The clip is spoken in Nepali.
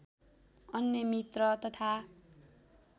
अन्य मित्र तथा